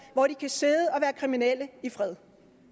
hvor de kan sidde og være kriminelle i fred